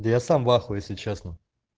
да я сам в ахуе если честно